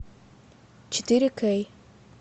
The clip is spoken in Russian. четыре кей